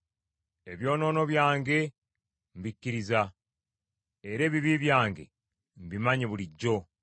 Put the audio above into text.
Ebyonoono byange mbikkiriza, era ebibi byange mbimanyi bulijjo.